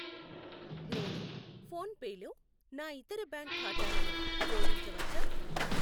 నేను PhonePe లో నా ఇతర బ్యాంక్ ఖాతాలను జోడించవచ్చా?